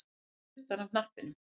Hann tók ekki puttann af hnappinum